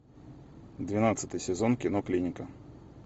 двенадцатый сезон кино клиника